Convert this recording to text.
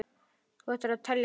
Þú ættir að telja það.